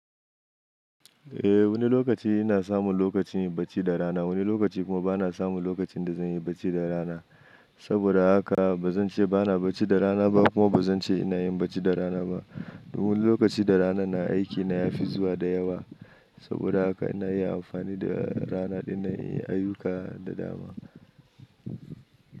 Eh wani lokaci ina samun lokacin yin bacci da rana, wani lokaci kuma bana samun lokacin da zan yi bacci da rana. Saboda haka ba zan ce bana bacci da rana ba, kuma ba zan ce ina yin bacci da rana ba. Wani lokaci da ranan nan aiki na ya fi zuwa da yawa. Saboda haka ina iya amfani da rana ɗinnan inyi ayyuka da dama.